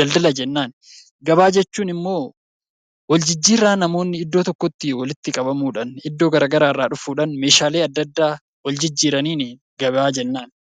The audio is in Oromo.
daldala jennaan. Gabaa jechuun ammoo waljijjiirraa namoonni iddoo tokkotti walitti qabamuudhaan, iddoo adda addaa irraa dhufuudhaan meeshaalee adda addaa waljijjiiraniin gabaa jennaan.